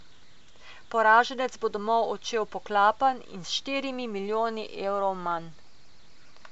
Poraženec bo domov odšel poklapan in s štirimi milijoni evrov manj.